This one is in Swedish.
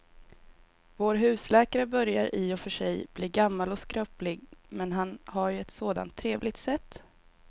Vår husläkare börjar i och för sig bli gammal och skröplig, men han har ju ett sådant trevligt sätt!